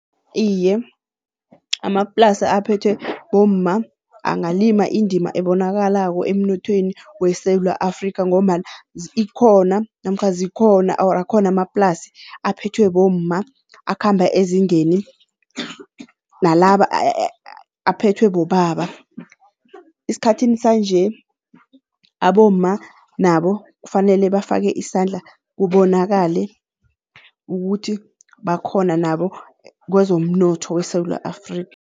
Iye, amaplasa aphethwe bomma angalima indima ebonakalako emnothweni weSewula Afrikha ngombana ikhona namkha zikhona or akhona amaplasi aphethwe bomma akhamba ezingeni nalaba aphethwe bobaba. Esikhathini sanje abomma nabo kufanele bafake isandla kubonakale ukuthi bakhona nabo kwezomnotho weSewula Afrikha.